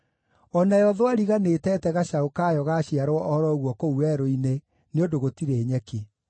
O nayo thwariga nĩĩteete gacaũ kayo gaaciarwo o ro ũguo kũu werũ-inĩ, nĩ ũndũ gũtirĩ nyeki.